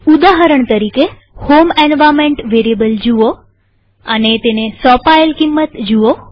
ઉદાહરણ તરીકેહોમ environment variable જુઓ અને તેને સોંપાયેલ કિંમત જુઓ